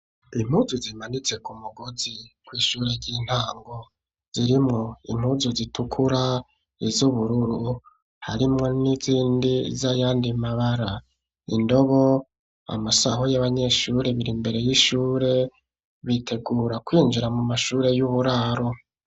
Impuzu zimanitse ku mugozi kw'ishure ry'intango zirimo impuzu zitukura , ,iz'ubururu harimwo n'izindi z'ayandi mabara indobo amasaho y'abanyeshure biri mbere y'ishure bitegura kwinjira mu mashuri y' uburaro.